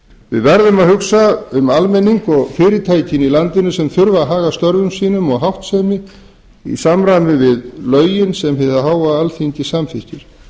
við verðum að hugsa um almenning og fyrirtækin í landinu sem þurfa að haga störfum sínum og háttsemi í samræmi við lögin sem hið háa alþingi samþykkir